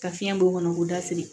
Ka fiɲɛ b'o kɔnɔ k'o da firi